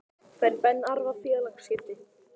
Fær Ben Arfa félagaskipti?